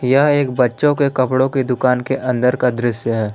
यह एक बच्चों के कपड़ों के दुकान के अंदर का दृश्य है।